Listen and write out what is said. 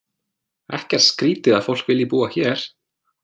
Ekkert skrítið að fólk vilji búa hér.